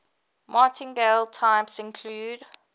martingale types include